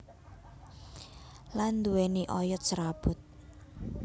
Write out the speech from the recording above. Lan nduwéni oyot serabut